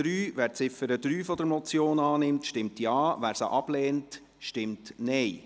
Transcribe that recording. Wer Ziffer 3 der Motion annimmt, stimmt Ja, wer diese ablehnt, stimmt Nein.